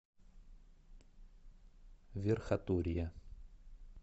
верхотурье